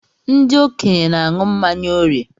Ndị okenye n'añu mmanya órìè.